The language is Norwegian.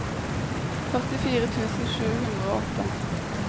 førtifire tusen sju hundre og åtte